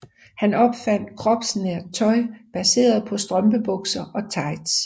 Han opfandt kropsnært tøj baseret på strømpebukser og tights